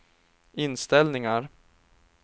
inställningar